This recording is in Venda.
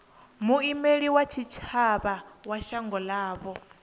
muimeli wa tshitshavha wa shango ḽavho